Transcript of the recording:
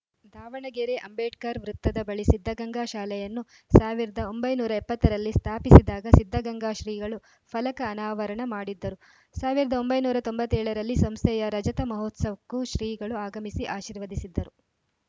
ದಾವಣಗೆರೆ ಅಂಬೇಡ್ಕರ್‌ ವೃತ್ತದ ಬಳಿ ಸಿದ್ಧಗಂಗಾ ಶಾಲೆಯನ್ನು ಸಾವಿರದ ಒಂಬೈನೂರ ಎಪ್ಪತ್ತ ರಲ್ಲಿ ಸ್ಥಾಪಿಸಿದಾಗ ಸಿದ್ಧಗಂಗಾ ಶ್ರೀಗಳು ಫಲಕ ಅನಾವರಣ ಮಾಡಿದ್ದರು ಸಾವಿರದ ಒಂಬೈನೂರ ತೊಂಬತ್ತ್ ಏಳ ರಲ್ಲಿ ಸಂಸ್ಥೆಯ ರಜತ ಮಹೋತ್ಸವಕ್ಕೂ ಶ್ರೀಗಳು ಆಗಮಿಸಿ ಆಶೀರ್ವದಿಸಿದ್ದರು